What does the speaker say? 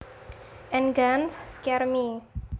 And guns scare me